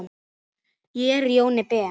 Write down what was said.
Ég er Jóni Ben.